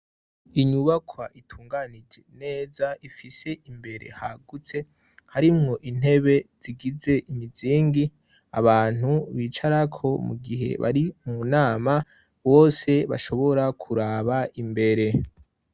Inyubakwa itunganije neza, ifise imbere hagutse. Harimwo intebe zigize imizingi abantu bicarako mu gihe bari mu nama, bose bashobora kuraba imbere.